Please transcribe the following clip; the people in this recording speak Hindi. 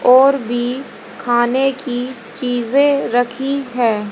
और भी खाने की चीजें रखी है।